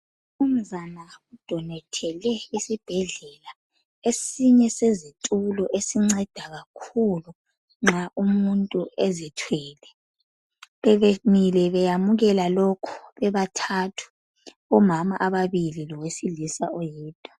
Umnunzana udonethele esibhedlela esinye sezitulo esinceda kakhulu nxa umuntu ezithwele, bebemile beyamukela lokhu, bebathathu, omama ababili lowesilisa oyedwa.